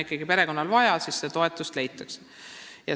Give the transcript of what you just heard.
Kui perekonnal on vaja, siis see toetus leitakse.